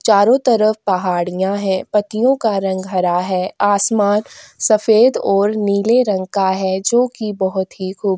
चारों तरफ पहाड़ियाँ हैं पत्तियों का रंग हरा है आसमान सफेद और नीले रंग का है जो कि बहोत ही खूब --